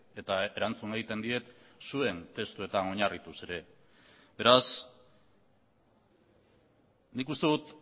eta erantzun egiten diet zuen testuetan oinarrituz ere beraz nik uste dut